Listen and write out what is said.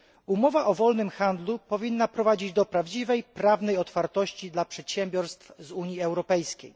Umowa o wolnym handlu powinna prowadzić do prawdziwej prawnej otwartości dla przedsiębiorstw z Unii Europejskiej.